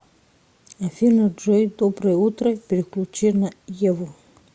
афина джой доброе утро переключи на еву